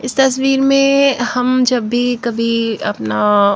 इस तस्वीर में हम जब भी कभी अपना --